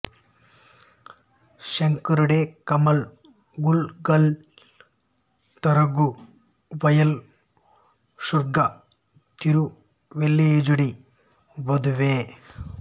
శేఝడై కయల్ గళుగళ్ తిగఝ వయల్ శూఝ తిరువెళ్లియజ్గుడి వదువే